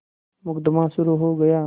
मुकदमा शुरु हो गया